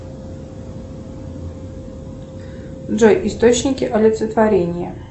джой источники олицетворения